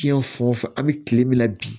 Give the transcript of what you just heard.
Tiyɛn fan o fan an bɛ kile min na bi